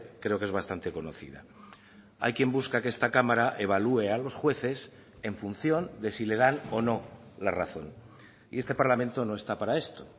creo que es bastante conocida hay quien busca que esta cámara evalúe a los jueces en función de si le dan o no la razón y este parlamento no está para esto